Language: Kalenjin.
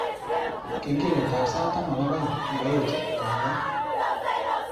Kengeletab sait taman ak aeng ngoeche gaigai